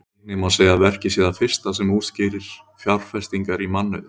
Einnig má segja að verkið sé það fyrsta sem útskýrir fjárfestingar í mannauði.